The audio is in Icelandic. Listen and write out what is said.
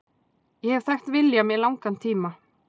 Ég hef þekkt William í langan tíma.